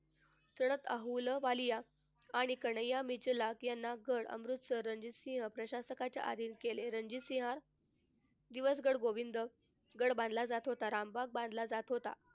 अहलुवालिया आणि कन्हैया यांना पण अमृतसर रणजीत सिंह प्रशासकाच्या आधीन केले. रणजीत सिंह गोविंद गड बांधला जात होता. रामबाग बांधला जात होता.